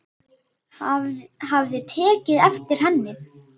Hafði tekið eftir henni.